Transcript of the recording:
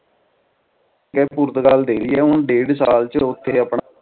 ਯਰ Portugal ਦੇ ਰਹੀ ਆ ਹੁਣ ਡੇਢ ਸਾਲ ਚ ਓਥੇ ਆਪਣਾ